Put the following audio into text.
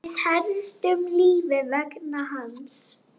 Við héldum lífi vegna hans.